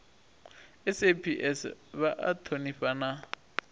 saps vha a thonifha na